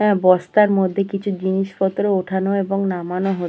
আর বস্তার মধ্যে কিছু জিনিসপত্র ওঠানো এবং নামানো হচ্--